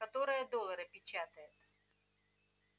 которая доллары печатает